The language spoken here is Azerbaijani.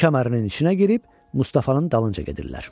Su kəmərinin içinə girib Mustafanın dalınca gedirlər.